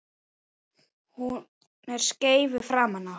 Hún er skeifu framan á.